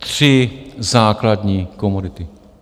- tři základní komodity.